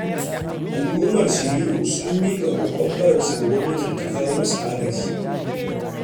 Al'ummar Shiriro sun miƙa ƙoƙon bararsu ga gwamnata da ta kawo musu agaji.